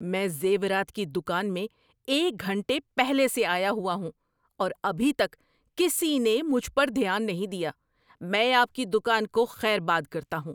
میں زیورات کی دکان میں ایک گھنٹے پہلے سے آیا ہوا ہوں اور ابھی تک کسی نے مجھ پر دھیان نہیں دیا۔ میں آپ کی دکان کو خیر باد کرتا ہوں۔